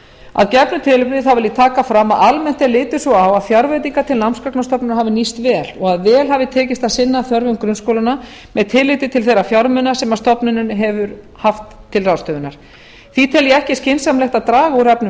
að gefnu tilefni þá vil ég taka fram að almennt er litið svo á að fjárveitingar til námsgagnastofnunar hafa nýst vel og að vel hafi tekist að sinna þörfum grunnskólanna með tilliti til þeirra fjármuna sem stofnunin hefur haft til ráðstöfunar því tel ég ekki skynsamlegt að draga úr efnum